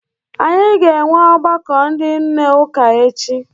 Anyị ga-enwe ọgbakọ ndị nne ụka echi.